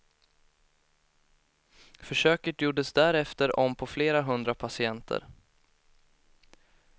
Försöket gjordes därefter om på flera hundra patienter.